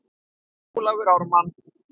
Ólafur Ármann.